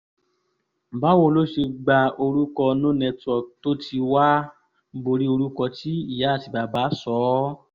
báwo lo ṣe gba orúkọ no network tó ti wàá borí orúkọ tí ìyá àti bàbá sọ ọ́